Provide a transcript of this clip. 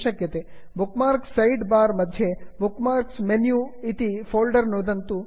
bookmarks side bar bookmarks side bar मध्ये bookmarks menu bookmarks menu इति folder नुदन्तु